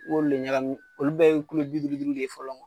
I b'olu de ɲagami. Olu bɛɛ ye Kulo bi duuru duuru de fɔlɔ